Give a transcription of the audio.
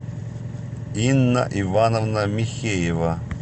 инна ивановна михеева